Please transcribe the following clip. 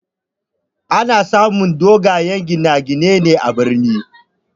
Ana samu dogayen gine gine ne a birni